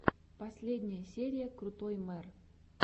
последняя серия крутой мэр